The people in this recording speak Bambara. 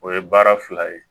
O ye baara fila ye